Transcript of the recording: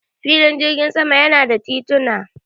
Filin jirgin sama yana da tituna.